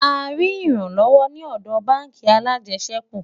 a rí ìran lówó ní òdò bánkì alàjesèkú